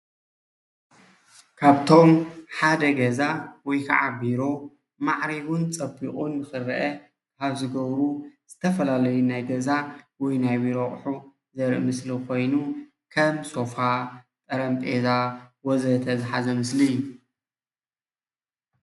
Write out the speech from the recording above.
ካብቶም ሓደ ገዛ ወይ ካዓ ቢሮ ማዕሪጉን ፀቢቑን ክርአ ካብ ዝገብሩ ዝተፈላለዩ ናይ ገዛ ወይ ናይ ቢሮ ኣቑሑት ዘርኢ ምስሊ ኮይኑ ከም ሶፋ፣ ጠረጴዛ ወዘተ ዝሓዘ ምስሊ እዩ።